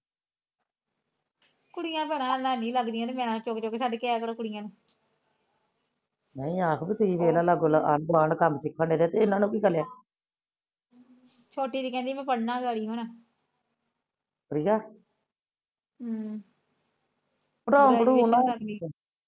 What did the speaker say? ਮੈ ਆਖਦੀ ਆਂਢ ਗੁਆਂਢ ਕੰਮ ਸਿਖਣ ਡਿਆ ਇਹਨਾ ਨੂੰ ਵੀ ਕਿਹਾ ਛੋਟੀ ਤੇ ਕਹਿੰਦੀ ਮੈ ਪੜਨਾ ਪਰੀਆ ਹਮ ਪੜੋਣ ਪੜੁਣ ਨਾ